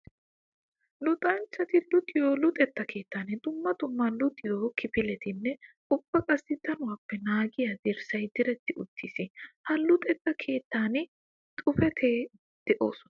Luxanchcatti luxiyo luxetta keettan dumma dumma luxiyo kifilettinne ubba qassikka danuwappe naagiya dirssay diretti uttiis. Ha luxetta keettan xuufetti de'osonna.